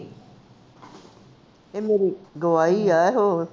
ਏ ਮੇਰੀ ਗਵਾਹੀ ਐ ਹੋਰ